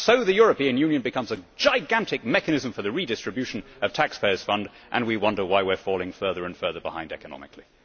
So the European Union becomes a gigantic mechanism for the redistribution of taxpayers' funds and we wonder why we are falling further and further behind economically.